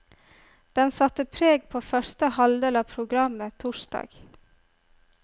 Den satte preg på første halvdel av programmet torsdag.